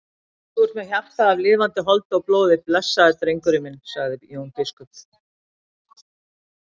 Þú ert með hjarta af lifandi holdi og blóði blessaður drengurinn minn, sagði Jón biskup.